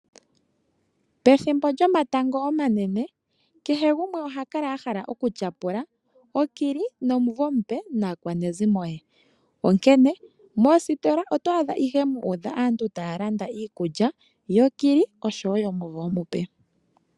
Pethimbo lyomatango omanene kehe gumwe oha kala a hala okulya owala okili nomuvo omupe naakwanezimo ye onkene moositola oto adha ihe mu udha aantu taya landa iikulya yokili noyomuvo omupe.